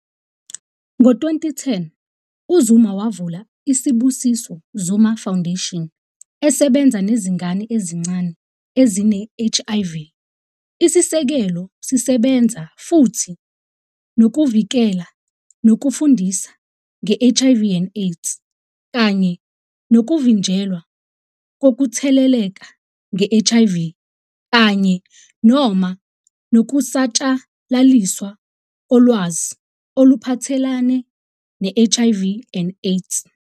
Ngo-2010, uZuma wavula iSibusiso Zuma Foundation esebenza nezingane ezincane ezine-HIV. Isisekelo sisebenza futhi "nokuvikela nokufundisa nge-HIV and AIDS" kanye "nokuvinjelwa kokutheleleka nge-HIV kanye noma nokusatshalaliswa kolwazi oluphathelene ne-HIV and AIDS".